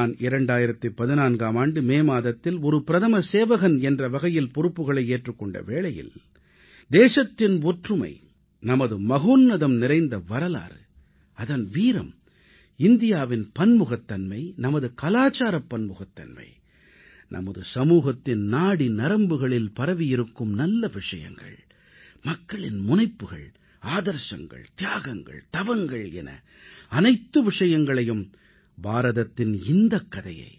நான் 2014ஆம் ஆண்டு மே மாதத்தில் ஒரு பிரதம சேவகன் என்ற வகையில் பொறுப்புகளை ஏற்றுக் கொண்ட வேளையில் தேசத்தின் ஒற்றுமை நமது உன்னதமான வரலாறு அதன் வீரம் இந்தியாவின் பன்முகத்தன்மை நமது கலாச்சாரப் பன்முகத்தன்மை நமது சமூகத்தின் நாடி நரம்புகளில் பரவியிருக்கும் நல்ல அம்சங்களான மக்களின் முனைப்புகள் சிக்கனம் பேரார்வம் மற்றும் தியாகம் என பாரதத்தின் இந்தக் கதையை